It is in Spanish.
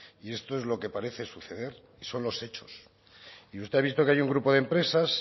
y esto es lo que parece suceder y son los hechos y usted ha visto que hay un grupo de empresas